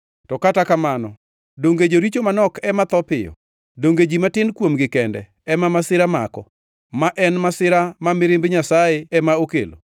“To kata kamano, donge joricho manok ema tho piyo? Donge ji matin kuomgi kende ema masira mako; ma en masira ma mirimb Nyasaye ema okelo?